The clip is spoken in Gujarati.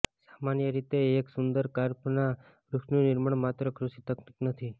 સામાન્ય રીતે એક સુંદર દ્વાર્ફના વૃક્ષનું નિર્માણ માત્ર કૃષિ તકનીક નથી